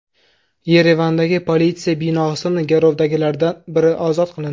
Yerevandagi politsiya binosidan garovdagilardan biri ozod qilindi.